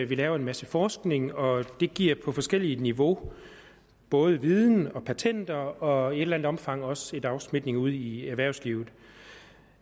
vi laver en masse forskning og det giver på forskellige niveauer både viden og patenter og i et eller andet omfang også en afsmitning ude i erhvervslivet